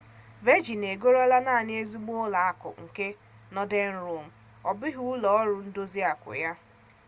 vejịn egorola naanị 'ezigbo ụlọ akụ' nke nọden rọk ọ bụghị ụlọ ọrụ ndozi akụ ya